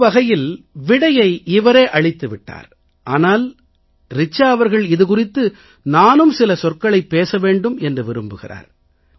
ஒருவகையில் விடையை இவரே அளித்து விட்டார் ஆனால் ரிச்சா அவர்கள் இது குறித்து நானும் சில சொற்களைப் பேச வேண்டும் என்று விரும்புகிறார்